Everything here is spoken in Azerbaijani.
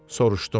soruşdum.